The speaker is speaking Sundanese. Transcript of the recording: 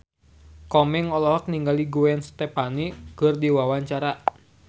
Komeng olohok ningali Gwen Stefani keur diwawancara